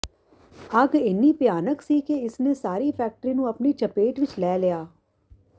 ਅੱਗ ਇੰਨੀ ਭਿਆਨਕ ਸੀ ਕਿ ਇਸ ਨੇ ਸਾਰੀ ਫੈਕਟਰੀ ਨੂੰ ਆਪਣੀ ਚਪੇਟ ਵਿੱਚ ਲੈ ਲਿਆ